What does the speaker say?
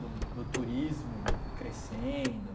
Do do turismo crescendo.